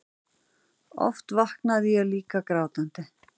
Oft vaknaði ég líka grátandi.